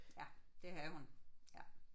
Ja det havde hun ja